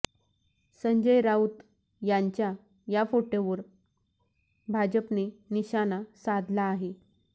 संजय राऊत यांच्या या फोटोवर भाजपने निशाणा साधला आहे